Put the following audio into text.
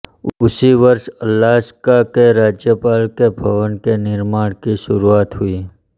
उसी वर्ष अलास्का के राज्यपाल के भवन के निर्माण की शुरुआत हुई